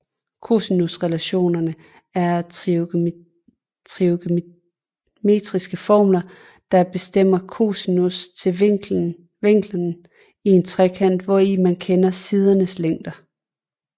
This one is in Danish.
Cosinusrelationer er trigonometriske formler der bestemmer cosinus til vinklerne i en trekant hvori man kender sidernes længder